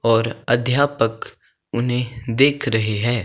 और अध्यापक उन्हें देख रहे है।